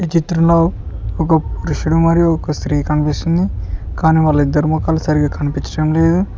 ఈ చిత్రంలో ఒక పురుషుడు మరియు ఒక స్త్రీ కనిపిస్తుంది కానీ వాళ్లు ఇద్దరి మోకాలు సరిగ్గా కనిపించడం లేదు.